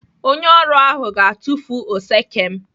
Onye ọrụ ahụ ga-atufu oseke m.